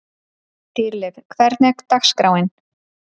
Dýrleif, hvernig er dagskráin?